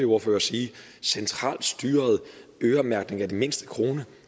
ordførere sige centralt styret øremærkning af den mindste krone